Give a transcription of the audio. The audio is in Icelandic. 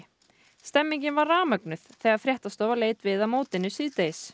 stemningin var rafmögnuð þegar fréttastofa leit við á mótinu síðdegis